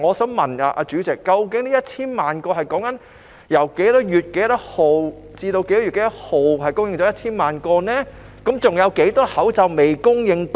主席，究竟這1000萬個口罩是由何月何日至何月何日送達，還有多少個已訂購口罩未送達？